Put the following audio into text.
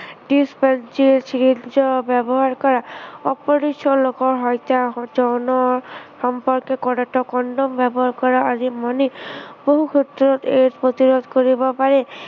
disposable syringe ৰ ব্য়ৱহাৰ কৰা। অপৰিচিত সকলৰ সৈতে যৌন সম্পৰ্ক কৰোতে কনডম ব্য়ৱহাৰ কৰা, আদি মানি বহু ক্ষেত্ৰত AIDS প্ৰতিৰোধ কৰিব পাৰি।